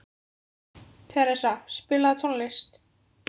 Theresa, spilaðu tónlist.